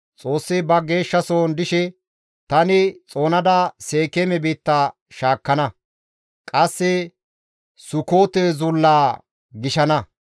Xoossi ba geeshshasohon dishe, «Tani xoonada Seekeeme biitta shaakkana; qasse Sukoote Zullaa gishana.